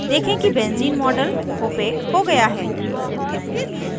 देखें कि benzene model opaque हो गया है